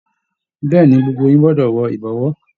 Bẹ̀ẹ́ni, gbogbo yín gbọdọ wọ ìbọ̀wọ́.